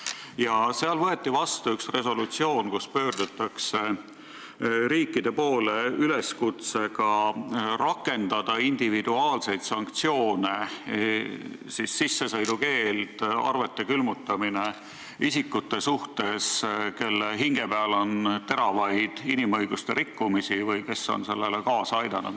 Ja seal võeti vastu üks resolutsioon, kus pöördutakse riikide poole üleskutsega rakendada individuaalseid sanktsioone – sissesõidukeeld, arvete külmutamine – isikute suhtes, kelle hinge peal on ränki inimõiguste rikkumisi või kes on sellele kaasa aidanud.